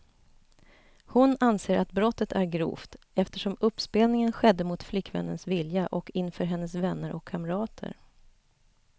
Hon anser att brottet är grovt, eftersom uppspelningen skedde mot flickvännens vilja och inför hennes vänner och kamrater.